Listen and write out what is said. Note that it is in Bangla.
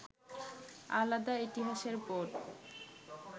আলাদা ইতিহাসের বোধ